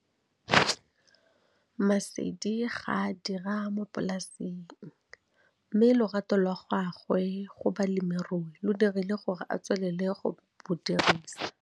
Maseli ga a a dira mo polaseng, mme lorato la gagwe go bolemirui lo dirile gore a tswelele go bo dirisa.